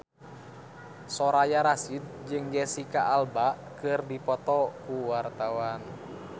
Soraya Rasyid jeung Jesicca Alba keur dipoto ku wartawan